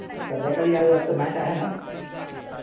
संध्याकाळी आज वाटतं match आहे ना?